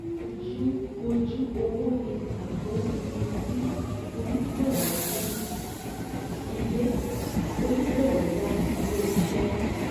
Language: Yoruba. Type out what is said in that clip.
Ojú owó ni pàtó iye tí onígbọ̀wọ́ yá ilé onígbọ̀wọ́ yá ilé iṣẹ́